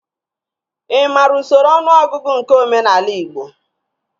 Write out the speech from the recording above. Ị maara usoro ọnụọgụgụ nke omenaala igbo?